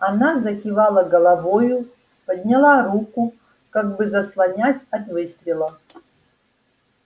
она закивала головою подняла руку как бы заслоняясь от выстрела